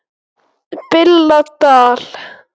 BILLA DAL